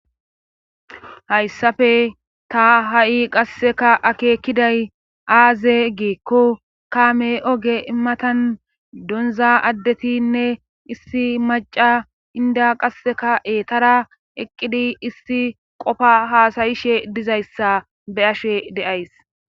Hayssafe ta ha7i qasseka akeekiday aaze giekko kaame oge imatan donza addetinne issi maca inda qasseka eetara eqqidi issi qofa haasayishe dizayssa be ashe deays.